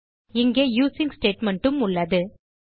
இங்கே using statement உம் உள்ளது